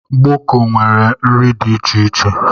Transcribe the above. Gboko nwere nri dị iche iche